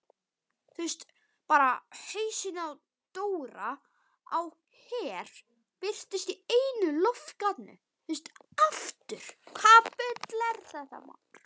Hausinn á Dóra á Her birtist í einu loftgatinu.